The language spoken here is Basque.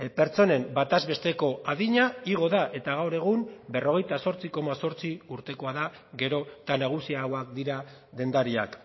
pertsonen bataz besteko adina igo da eta gaur egun berrogeita zortzi koma zortzi urtekoa da gero eta nagusiagoak dira dendariak